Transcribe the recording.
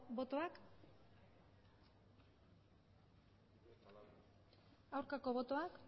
botoak aurkako botoak